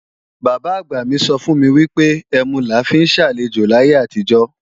Bàbá-àgbà mi sọ fún mi wípé, ẹmu la fi ń ṣe àlejò láyé àtijó